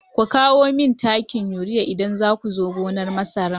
Ku kawo mani takin urea idan za ku zo gonar masara!